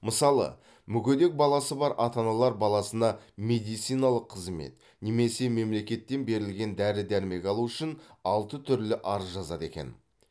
мысалы мүгедек баласы бар ата аналар баласына медициналық қызмет немесе мемлекеттен берілген дәрі дәрмек алу үшін алты түрлі арыз жазады екен